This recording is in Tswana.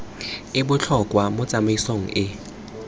e botlhokwa mo tsamaisong e